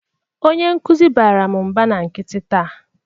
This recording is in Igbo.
Onye nkuzi baara m mba na nkịtị taa.